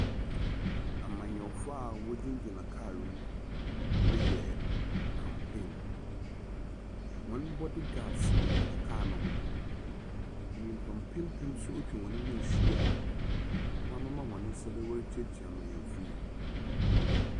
Amanyɔfo a wɔgyinagyina kaal mu reyɛ campaign. Hɔn bodyguards gyingyina kaal no ho. nympa mpempem nso etwa hɔn ho ehyia a wɔamema hɔn nsa do worikyiakyia mbenyinfo yi.